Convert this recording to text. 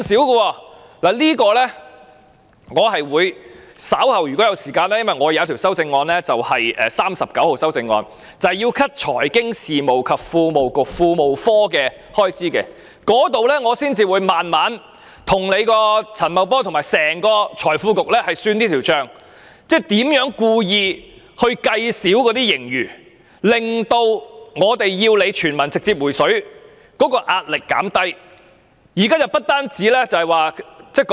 就此，如果我稍後有時間——我的修正案編號39正正提出削減財經事務及庫務局的預算開支——我會再慢慢跟陳茂波和財經事務及庫務局算這筆帳，即他們如何故意估少盈餘，以圖減低我們要求他們直接向所有市民"回水"的壓力。